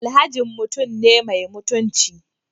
Alhajin mutum ne mai mutunci